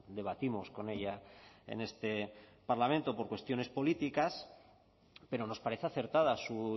debatimos con ella en este parlamento por cuestiones políticas pero nos parece acertada su